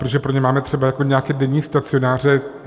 Protože pro ně máme třeba nějaké denní stacionáře.